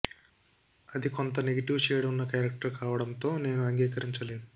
అది కొంత negative shade ఉన్న క్యారెక్టర్ కావడంతో నేను అంగీకరించలేదు